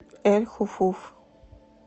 эль хуфуф